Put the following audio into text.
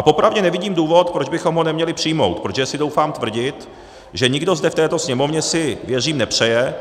A popravdě nevidím důvod, proč bychom ho neměli přijmout, protože si troufám tvrdit, že nikdo zde v této Sněmovně si, věřím, nepřeje,